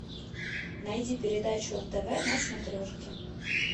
найди передачу нтв на смотрешке